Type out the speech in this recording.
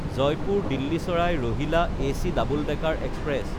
Jaipur-Delhi চাৰাই Rohilla AC double decker express